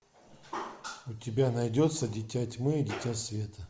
у тебя найдется дитя тьмы и дитя света